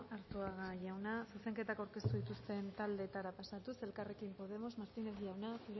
arzuaga jauna zuzenketak aurkeztu dituzten taldeetara pasatuz elkarrekin podemos martínez jauna